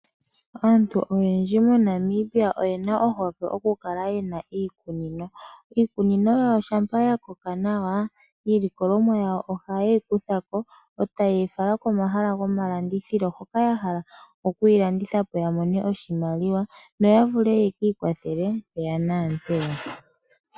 Aantu oyendji MoNamibia oye na ohokwe okukala ye na iikunino. Iikunino yawo shampa ya koka nawa, iilikolomwa yawo ohaye yi kutha ko, e taye yi fala komahala gomalandithilo hoka ya hala okuyi landitha po yo ya mone oshimaliwa noya vule yekiikwathele mpeya naampeya.